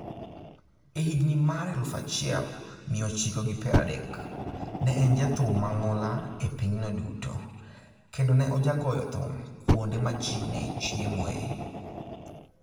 E higini mar eluu achiel mia ochiko gi pradek , ne en jathum mang'ula e pinyno duto, kendo ne ojagoyo thum kuonde ma ji ne chiemoe.